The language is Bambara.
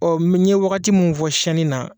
n ye wagati min fɔ siyɛnni na.